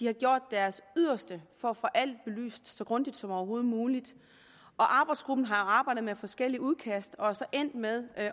har gjort deres yderste for at få alt belyst så grundigt som overhovedet muligt arbejdsgruppen har arbejdet med forskellige udkast og er så endt med at